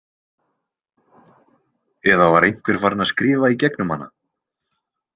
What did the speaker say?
Eða var einhver farin að skrifa í gegnum hana?